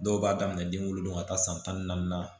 Dɔw b'a daminɛ den wolodon ka taa san tan ni naani na